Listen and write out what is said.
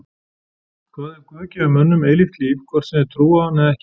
Hvað ef Guð gefur mönnum eilíft líf hvort sem þeir trúa á hann eða ekki?